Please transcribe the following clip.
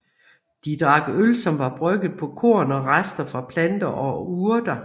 De drak øl som var brygget på korn og rester fra planter og urter